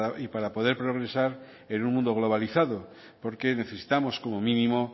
y para poder progresar en un mundo globalizado porque necesitamos como mínimo